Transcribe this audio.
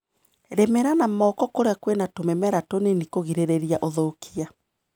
Rĩmĩra na moko kũrĩa kwĩna tũmĩmera tũnini kũgirĩrĩria ũthũkia.